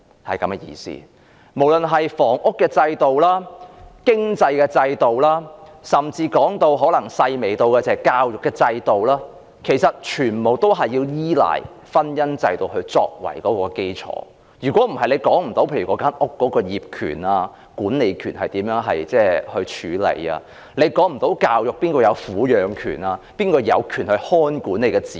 不論是房屋制度、經濟制度，甚至是教育制度，其實全部倚賴婚姻制度作為基礎，否則便無法處理房屋業權和管理權，以及無法處理教育及撫養權等，即誰有權看管子女。